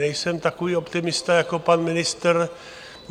Nejsem takový optimista jako pan ministr.